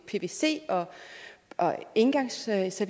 pvc og engangsservice